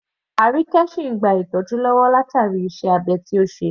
Arike sìn ìn gba ìtọ́jú látàrí iṣẹ́ abẹ tí ó ṣe.